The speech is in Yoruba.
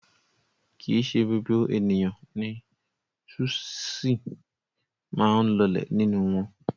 Kì í ṣe gbogbo ènìyàn ni súṣì máa ń lọlẹ̀ nínú wọn.